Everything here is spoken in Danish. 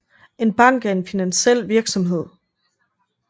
En bank er en finansiel virksomhed